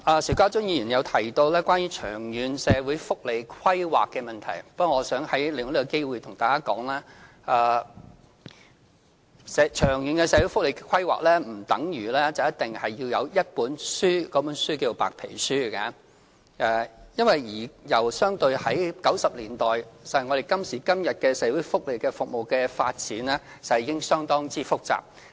邵家臻議員提到長遠社會福利規劃的問題。我想利用這個機會向大家說，長遠社會福利規劃並不等於一定要有一本書或所謂的白皮書，因為相對於1990年代，今時今日的社會福利服務的發展，實際上已經相當複雜。